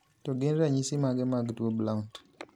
To gin ranyisi mage mag tuo blount ?